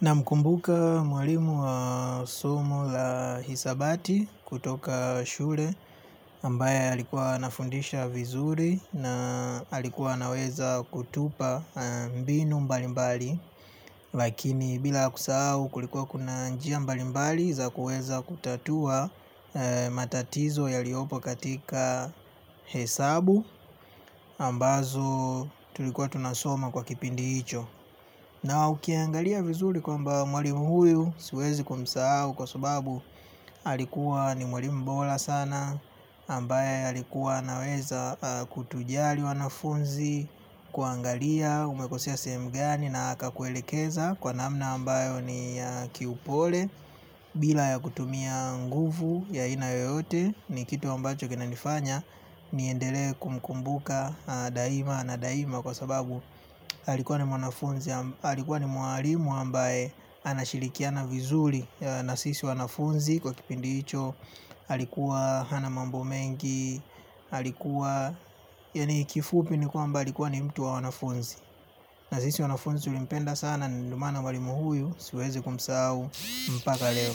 Namkumbuka mwalimu wa somo la hisabati kutoka shule ambaye alikuwa anafundisha vizuri na alikuwa anaweza kutupa mbinu mbalimbali. Lakini bila kusahau kulikuwa kuna njia mbalimbali za kuweza kutatua matatizo yaliopo katika hesabu ambazo tulikuwa tunasoma kwa kipindi hicho. Na ukiangalia vizuri kwamba mwalimu huyu siwezi kumsahau kwa sababu alikuwa ni mwalimu bora sana ambaye alikuwa anaweza kutujali wanafunzi kuangalia umekosea sehemu gani na akakuelekeza. Kwa namna ambayo ni ya kiupole bila ya kutumia nguvu ya aina yoyote ni kitu ambacho kinanifanya. Niendelee kumkumbuka daima na daima kwa sababu alikuwa ni mwanafunzi alikuwa ni mwalimu ambaye anashirikiana vizuri. Na sisi wanafunzi kwa kipindi cho alikuwa hana mambo mengi alikuwa yani kifupi ni kwamba alikuwa ni mtu wa wanafunzi. Na sisi wanafunzi tulimpenda sana ndo maana mwalimu huyu siwezi kumsahau mpaka leo.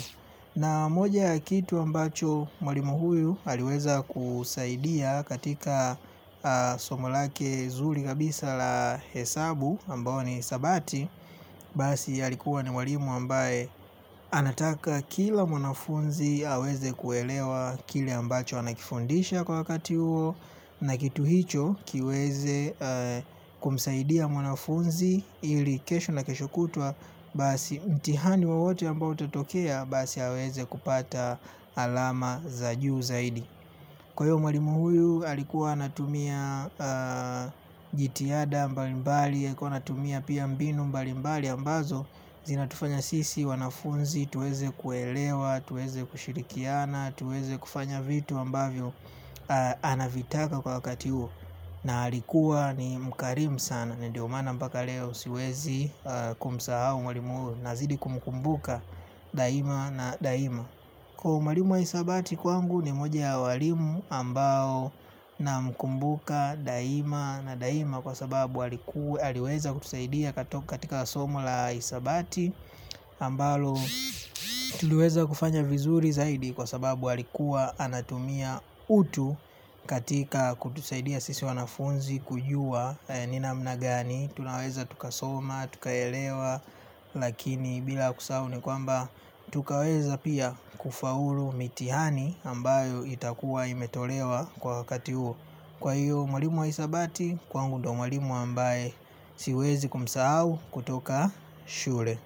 Na moja ya kitu ambacho mwalimu huyu aliweza kusaidia katika somo lake zuri kabisa la hesabu ambayo ni hisabati. Basi alikuwa ni mwalimu ambaye anataka kila mwanafunzi aweze kuelewa kile ambacho anakifundisha kwa wakati huo. Na kitu hicho kiweze kumsaidia mwanafunzi ili kesho na kesho kutwa basi mtihani wowote ambao utatokea basi aweze kupata alama za juu zaidi. Kwa hiyo mwalimu huyu alikuwa anatumia jitihada mbalimbali alikuwa anatumia pia mbinu mbalimbali ambazo zinatufanya sisi wanafunzi tuweze kuelewa tuweze kushirikiana. Tuweze kufanya vitu ambavyo anavitaka kwa wakati huo. Na alikuwa ni mkarimu sana. Ndiyo maana mpaka leo siwezi kumsahau mwalimu. Nazidi kumkumbuka daima na daima. Kwa hiyo mwalimu wa hisabati kwangu ni moja ya walimu ambao namkumbuka daima na daima. Kwa sababu aliweza kutusaidia katoka katika somo la hisabati ambalo tuliweza kufanya vizuri zaidi. Kwa sababu alikuwa anatumia utu katika kutusaidia sisi wanafunzi kujua ni namna gani tunaweza tukasoma, tukaelewa, lakini bila kusahau ni kwamba tukaweza pia kufaulu mitihani ambayo itakuwa imetolewa kwa wakati huo. Kwa hiyo mwalimu wa hisabati, kwangu ndo mwalimu ambaye siwezi kumsahau kutoka shule.